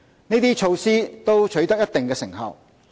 這些措施都取得一定成效。